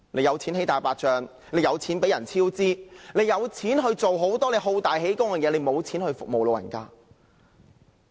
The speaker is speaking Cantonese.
有錢興建"大白象"工程、有錢讓工程超支、有錢做很多好大喜功的事，卻沒錢服務長者？